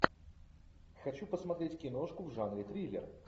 хочу посмотреть киношку в жанре триллер